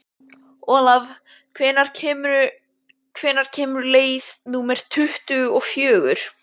Olav, hvenær kemur leið númer tuttugu og fjögur?